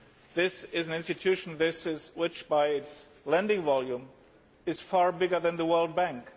This is an institution which, by its lending volume, is far bigger than the World Bank.